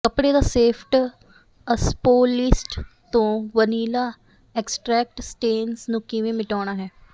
ਕੱਪੜੇ ਦਾ ਸੇਫਟ ਅਸਪੋਲੀਸਟ ਤੋਂ ਵਨੀਲਾ ਐਕਸਟਰੈਕਟ ਸਟੈਨਸ ਨੂੰ ਕਿਵੇਂ ਮਿਟਾਉਣਾ ਹੈ